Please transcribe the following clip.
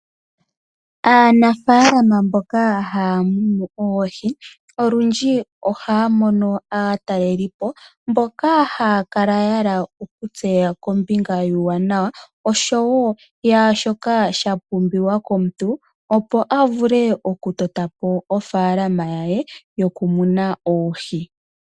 Aanafalama mboka haya munu oohi, olundji ohayamono aatalelipo mboka hayakala yahala okutseya kombinga yuuwanawa naashoka sha pumbiwa komuntu opo avule okutota po ofaalama yaye yokumuna oohi.